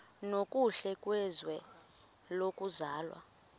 nokuhle kwizwe lokuzalwa